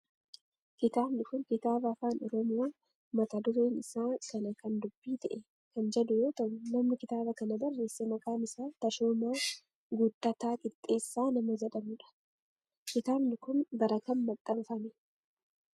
Kitaabni kun kitaaba afaan oromoo mata dureen isaa kana kan dubbii ta'e kan jedhu yoo ta'u namni kitaaba kana barreesse maqaan isaa Tashoomaa Guuttataa Qixxeessaa nama jedhamudha. Kitaabni kun bara kam maxxanfame?